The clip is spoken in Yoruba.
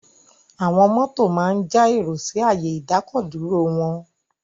Àwọn mọ́tò máa ń ja èrò sí ààyè ìdákọ̀-dúró wọn.